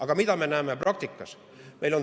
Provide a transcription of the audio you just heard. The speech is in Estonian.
Aga mida me näeme praktikas?